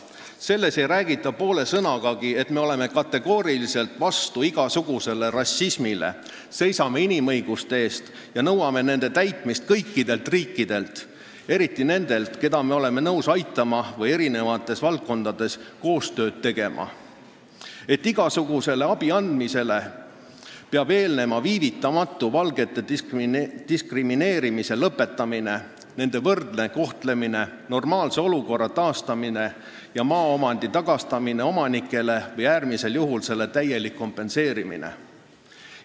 Selles ei räägita poole sõnagagi, et me oleme kategooriliselt vastu igasugusele rassismile, seisame inimõiguste eest ja nõuame nende austamist kõikidelt riikidelt, eriti nendelt, keda me oleme nõus aitama või kellega erinevates valdkondades koostööd tegema, et igasugusele abiandmisele peab eelnema viivitamatu valgete diskrimineerimise lõpetamine, nende võrdne kohtlemine, normaalse olukorra taastamine ja maaomandi tagastamine omanikele või äärmisel juhul selle täielik kompenseerimine.